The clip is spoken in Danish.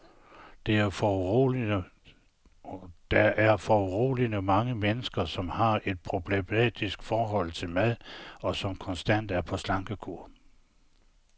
Der er foruroligende mange mennesker, som har et problematisk forhold til mad, og som konstant er på slankekur.